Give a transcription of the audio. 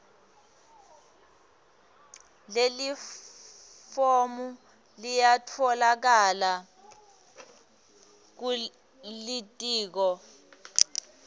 lelifomu liyatfolakala kulitiko